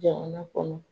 Jamana kɔnɔ